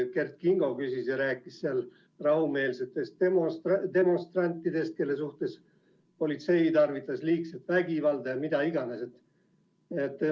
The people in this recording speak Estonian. Kert Kingo rääkis rahumeelsetest demonstrantidest, kelle suhtes politsei tarvitas liigset vägivalda ja mida iganes.